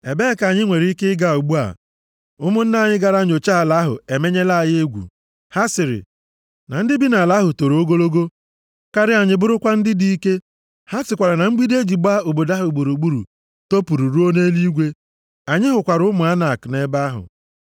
Ebee ka anyị nwere ike ịga ugbu a? Ụmụnna anyị gara nyochaa ala ahụ emenyela anyị egwu. Ha sịrị, ‘Na ndị bi nʼala ahụ toro ogologo karịa anyị bụrụkwa ndị dị ike. Ha sịkwara na mgbidi e ji gbaa obodo ha gburugburu topuru ruo nʼeluigwe! Anyị hụkwara ụmụ Anak + 1:28 Ụmụ Anak Ụmụ Anak bụ ndị bi nʼala Kenan. Ha bụ ndị a kọwara dịka ndị gbara nnọọ dimkpa, topụkwa etopụ. \+xt Ọnụ 13:28\+xt* nʼebe ahụ.’ ”